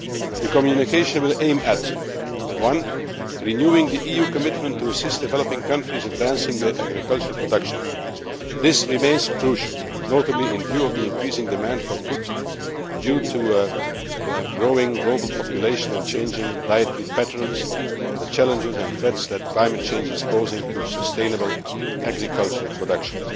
The communication will aim firstly at renewing the EU commitment to assist developing countries advancing their agricultural production. This remains crucial, notably in view of the increasing demand for food due to a growing global population and changing dietary patterns and the challenges and threats that climate change is posing to sustainable agricultural production.